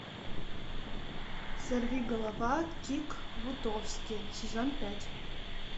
сорвиголова кик бутовски сезон пять